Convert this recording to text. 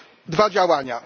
dwa działania.